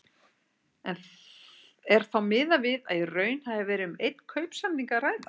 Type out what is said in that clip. Er þá miðað við að í raun hafi verið um einn kaupsamning að ræða.